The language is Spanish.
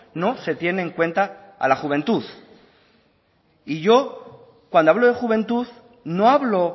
no se tiene en cuenta a la juventud y yo cuando hablo de juventud no hablo